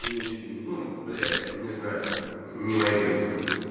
не людьми ну бля не знаю не мои принципы